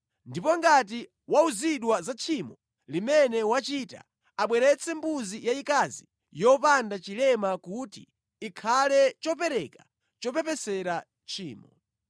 Ndipo ngati wauzidwa za tchimo limene wachita, abweretse mbuzi yayikazi yopanda chilema kuti ikhale chopereka chopepesera tchimo.